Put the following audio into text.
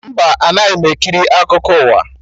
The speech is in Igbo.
Mba, anaghị m ekiri akụkọ ụwa